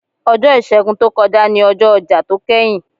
Ọjọ́ Ìṣègùn tó kọjá ni ọjọ́ ọjà tó kẹ́yìn.